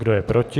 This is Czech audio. Kdo je proti?